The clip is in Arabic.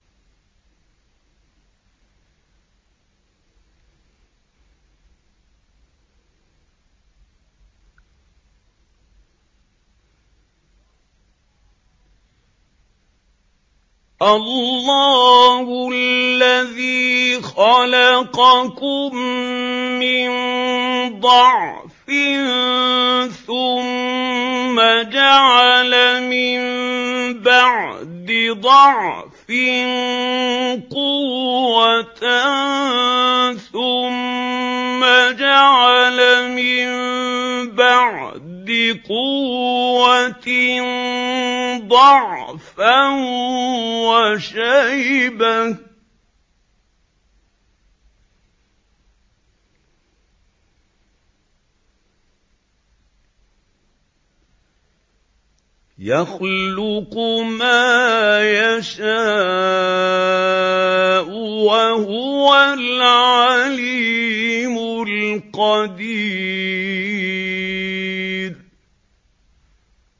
۞ اللَّهُ الَّذِي خَلَقَكُم مِّن ضَعْفٍ ثُمَّ جَعَلَ مِن بَعْدِ ضَعْفٍ قُوَّةً ثُمَّ جَعَلَ مِن بَعْدِ قُوَّةٍ ضَعْفًا وَشَيْبَةً ۚ يَخْلُقُ مَا يَشَاءُ ۖ وَهُوَ الْعَلِيمُ الْقَدِيرُ